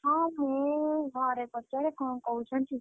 ହଁ ମୁଁ ଘରେ ପଚାରେ କଣ କହୁଛନ୍ତି?